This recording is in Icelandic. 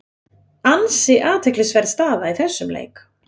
Ansi athyglisverð staða í þessum leik.